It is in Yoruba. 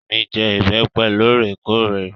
Ìyá mi jẹ ìbẹ́pẹ́ lóòrèkóòrè.